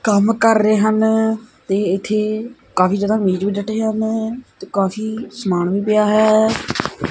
ਕੰਮ ਕਰ ਰਹੇ ਹਨ ਤੇ ਇੱਥੇ ਕਾਫੀ ਜਿਆਦਾ ਮੇਜ ਵੀ ਡੱਟੇ ਹਨ ਤੇ ਕਾਫੀ ਸਮਾਨ ਵੀ ਪਿਆ ਹੈ।